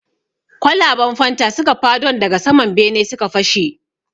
Kwalaban fanta suka fadon daga sama bene suka fashe.